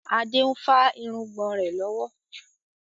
Adé ń fa irùngbọ̀n rẹ lọ́wọ́.